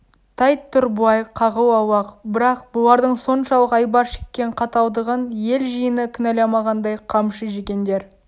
тәйт тұр былай қағыл аулақ бірақ бұлардың соншалық айбар шеккен қаталдығын ел жиыны кінәламағандай қамшы жегендер